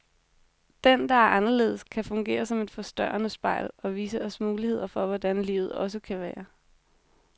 Den, der er anderledes, kan fungere som et forstørrende spejl, og vise os muligheder for hvordan livet også kan være.